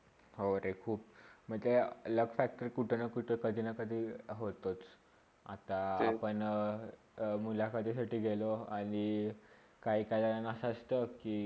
हो रे खुप! म्हणजे luck factor कुठेना -कुठे, कधीना - कधी होतोच, आता आपण हा मुलाखतीसाठी गेलो आणि काही - काही असा असता कि